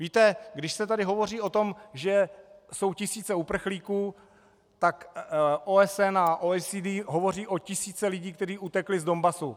Víte, když se tady hovoří o tom, že jsou tisíce uprchlíků, tak OSN a OECD hovoří o tisících lidí, kteří utekli z Donbasu.